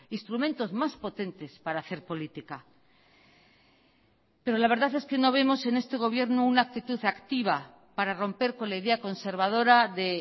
instrumentos más potentes para hacer política pero la verdad es que no vemos en este gobierno una actitud activa para romper con la idea conservadora de